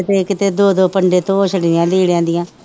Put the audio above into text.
ਕਿਤੇ ਕਿਤੇ ਦੋ ਦੋ ਪੰਡੇ ਧੋ ਛੱਡੀਆਂ ਲੀੜਿਆਂ ਦੀਆਂ।